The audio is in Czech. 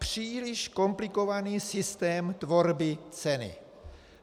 Příliš komplikovaný systém tvorby ceny.